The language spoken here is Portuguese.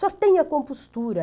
Só tem a compostura.